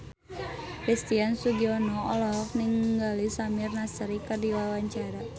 Christian Sugiono olohok ningali Samir Nasri keur diwawancara